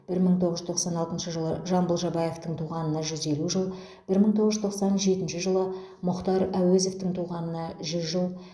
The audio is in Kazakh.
бір мың тоғыз жүз тоқсан алтыншы жылы жамбыл жабаевтың туғанына жүз елу жыл бір мың тоғыз жүз тоқсан жетінші жылы мұхтар әуезовтің туғанына жүз жыл